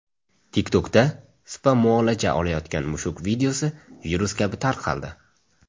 TikTok’da spa-muolaja olayotgan mushuk videosi virus kabi tarqaldi.